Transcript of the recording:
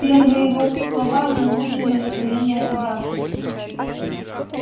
первые его слова не улучшили настроения собравшихся